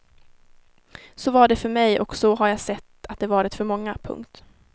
Så var det för mig och så har jag sett att det varit för många. punkt